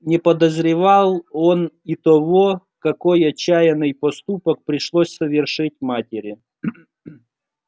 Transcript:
не подозревал он и того какой отчаянный поступок пришлось совершить матери